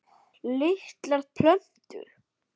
Litlar plötur